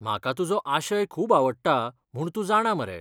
म्हाका तुजो आशय खूब आवडटा म्हूण तूं जाणा मरे.